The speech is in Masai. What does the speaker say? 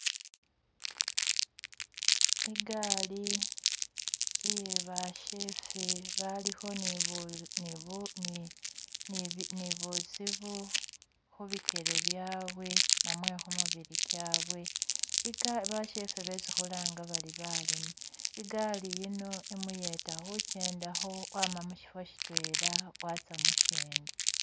Igaali iye bashefe balikho ni buzibu khu bikyele byawe namwe khumibili kyawe bashefe besi khulanga khuri baleme, igaali yino imuyeta khu kyendakho wama mushifo shitwela watsa mushindi.